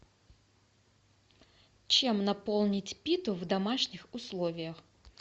чем наполнить питу в домашних условиях